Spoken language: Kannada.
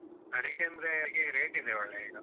ಅಡಿಕೆಯಂದ್ರೆ ಈಗ rate ಇದೆ ಒಳ್ಳೆ ಈಗ.